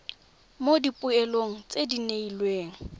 mo dipoelong tse di neelwang